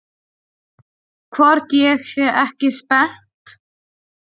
Hvort ég sé ekki spennt?